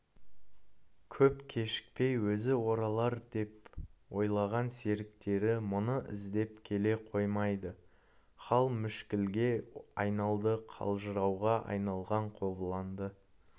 көп кешікпей өзі оралардеп ойлаған серіктері мұны іздеп келе қоймады хал мүшкілге айналды қалжырауға айналған қобыланды